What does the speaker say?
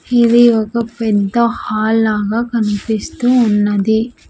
ఇది ఒక పెద్ద హాల్ లాగా కనిపిస్తూ ఉన్నది.